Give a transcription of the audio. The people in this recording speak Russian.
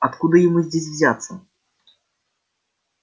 откуда ему здесь взяться